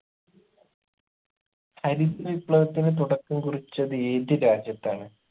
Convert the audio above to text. ഹരിത വിപ്ലവത്തിന് തുടക്കം കുറിച്ചത് ഏത് രാജ്യത്താണ്